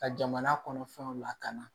Ka jamana kɔnɔ fɛnw lakana